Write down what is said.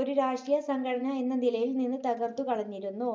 ഒരു രാഷ്ട്രീയ സംഘടന എന്ന നിലയിൽ നിന്ന് തകർത്തു കളഞ്ഞിരുന്നു.